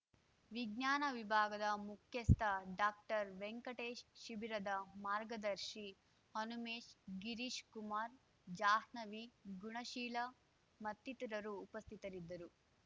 ವಿಜ್ಞಾನ ವಿಭಾಗದ ಮುಖ್ಯಸ್ಥ ಡಾಕ್ಟರ್ವೆಂಕಟೇಶ್ ಶಿಬಿರದ ಮಾರ್ಗದರ್ಶಿ ಹನುಮೇಶ್ ಗಿರೀಶ್‍ಕುಮಾರ್ ಜಾಹ್ನವಿ ಗುಣಶೀಲ ಮತ್ತಿತರರು ಉಪಸ್ಥಿತರಿದ್ದರು